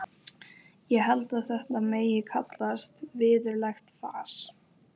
Ég held að þetta megi kallast virðulegt fas.